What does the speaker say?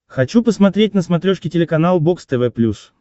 хочу посмотреть на смотрешке телеканал бокс тв плюс